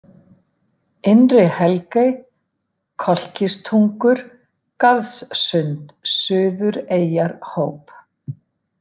Innri-Helgey, Kolkistungur, Garðssund, Suðureyjarhóp